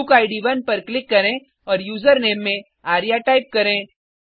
बुकिड 1 पर क्लिक करें और यूज़रनेम में आर्य टाइप करें